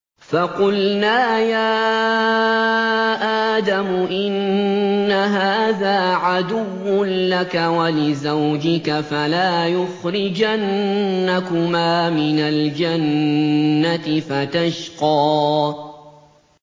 فَقُلْنَا يَا آدَمُ إِنَّ هَٰذَا عَدُوٌّ لَّكَ وَلِزَوْجِكَ فَلَا يُخْرِجَنَّكُمَا مِنَ الْجَنَّةِ فَتَشْقَىٰ